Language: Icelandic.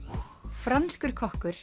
franskur kokkur